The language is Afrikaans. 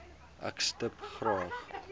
ek stip graag